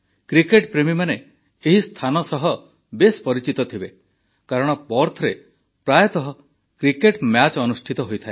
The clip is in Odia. କ୍ରିକେଟପ୍ରେମୀମାନେ ଏହି ସ୍ଥାନ ସହ ବେଶ୍ ପରିଚିତ ଥିବେ କାରଣ ପର୍ଥରେ ପ୍ରାୟତଃ କ୍ରିକେଟ ମ୍ୟାଚ ଅନୁଷ୍ଠିତ ହୋଇଥାଏ